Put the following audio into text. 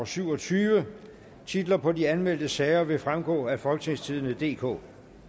syv og tyve titlerne på de anmeldte sager vil fremgå af folketingstidende DK